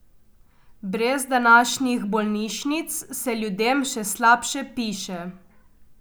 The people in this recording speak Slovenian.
Brez današnjih bolnišnic se ljudem še slabše piše.